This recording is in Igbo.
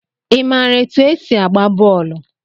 I maara etu e si agba bọọlụ?